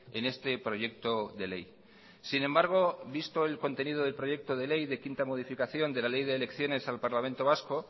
en este proyecto de ley sin embargo visto el contenido del proyecto de ley de quinta modificación de la ley de elecciones al parlamento vasco